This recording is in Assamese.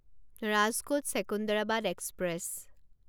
ৰাজকোট ছেকুণ্ডাৰাবাদ এক্সপ্ৰেছ